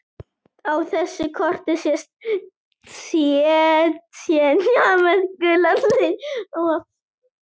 Á þessu korti sést Tsjetsjenía með gulum lit.